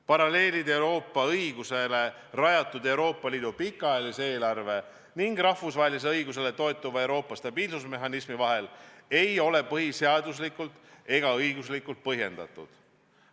Paralleelid Euroopa õigusele rajatud Euroopa Liidu pikaajalise eelarve ning rahvusvahelisele õigusele toetuva Euroopa stabiilsusmehhanismi vahel ei ole põhiseaduslikult ega õiguslikud põhjendatud.